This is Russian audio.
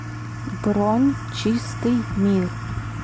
бронь чистый мир